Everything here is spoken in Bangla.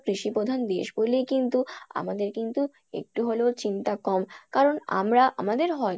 কৃষি প্রধান দেশ বলেই কিন্তু আমাদের কিন্তু একটু হলেও চিন্তা কম কারন আমরা আমাদের